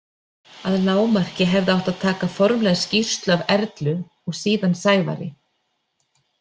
Að lágmarki hefði átt að taka formlega skýrslu af Erlu og síðan Sævari.